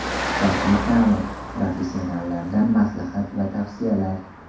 Sifatli ta’mir: professionallardan maslahat va tavsiyalar.